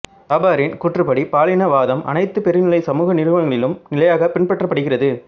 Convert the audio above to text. சாபரின் கூற்றுப்படி பாலின வாதம் அனைத்து பெருநிலைச் சமூக நிறுவனங்களிலும் நிலையாகப் பின்பற்றப்படுகிறது